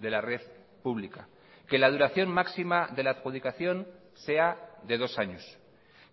de la red pública que la duración máxima de la adjudicación sea de dos años